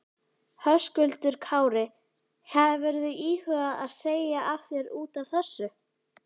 Höskuldur Kári: Hefurðu íhugað að segja af þér útaf þessu?